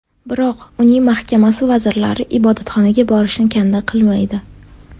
Biroq uning mahkamasi vazirlari ibodatxonaga borishni kanda qilmaydi.